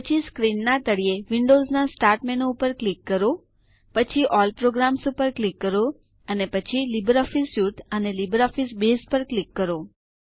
પછી સ્ક્રીનના તળિયે વિન્ડોવ્સના સ્ટાર્ટ મેનૂ પર ક્લિક કરો પછી અલ્લ પ્રોગ્રામ્સ ઉપર ક્લિક કરો પછી લિબ્રિઓફિસ સ્યુટ અને લિબ્રિઓફિસ બેઝ પર ક્લિક કરો